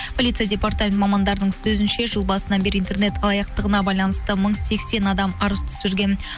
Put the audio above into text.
полиция департаменті мамандарының сөзінше жыл басынан бері интернет алаяқтығына байланысты мың сексен адам арыз түсірген